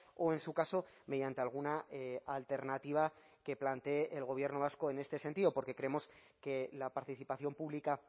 o en su caso mediante alguna alternativa que plantee el gobierno vasco en este sentido porque creemos que la participación pública